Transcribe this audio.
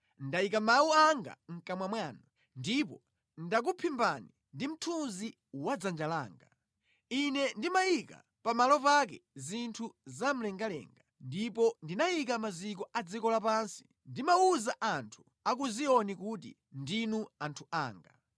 Ndayika mawu anga mʼkamwa mwanu ndipo ndakuphimbani ndi mthunzi wa dzanja langa. Ine ndimayika pa malo pake zinthu za mlengalenga, ndipo ndinayika maziko a dziko lapansi, ndimawuza anthu a ku Ziyoni kuti, ‘Ndinu anthu anga.’ ”